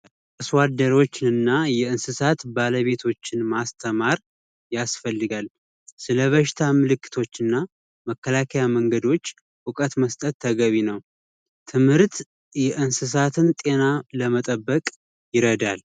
አርሶአደሮች እና እና የእንስሳት ባለቤቶችን ማስተማር ያስፈልጋል ስለበሽታ አምልክቶችና መከላከያ መንገዶች እውቀት መስጠት ተገቢ ነው ትምህርት የእንስሳትን ጤና ለመጠበቅ ይረዳል